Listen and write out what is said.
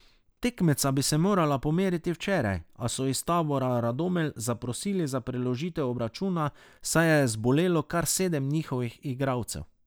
Tekmeca bi se morala pomeriti včeraj, a so iz tabora Radomelj zaprosili za preložitev obračuna, saj je zbolelo kar sedem njihovih igralcev.